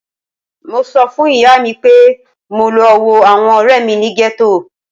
Mo sọ fun iya mi pe mo lọ wo awọn ọrẹ mi ni ghetto